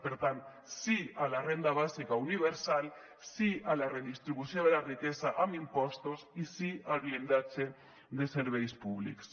per tant sí a la renda bàsica universal sí a la redistribució de la riquesa amb impostos i sí al blindatge de serveis públics